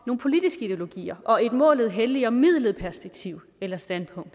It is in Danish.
politiske ideologier og et målet helliger midlet perspektiv eller standpunkt